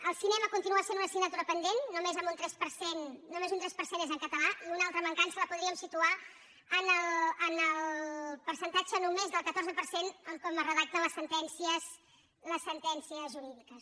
el cinema continua sent una assignatura pendent només un tres per cent és en català i una altra mancança la podríem situar en el percentatge només de catorze per cent de com es redacten les sentències jurídiques